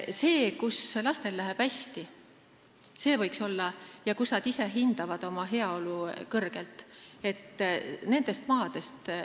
Võiks vaadata maid, kus lastel läheb hästi ja kus nad ise oma heaolu kõrgelt hindavad.